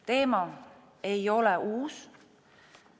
Teema ei ole uus.